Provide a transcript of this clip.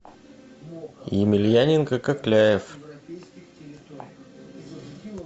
емельяненко кокляев